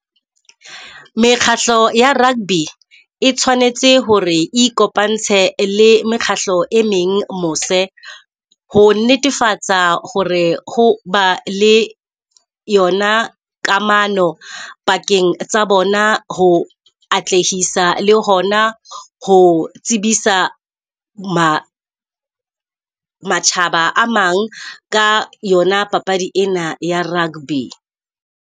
Mekgatlo ya rugby e tshwanetse hore e ikopantse le mekgahlo e meng mose, ho netefatsa hore ho ba le yona kamano pakeng tsa bona, ho atlehisa le hona ho tsebisa matjhaba a mang ka yona papadi ena ya rugby.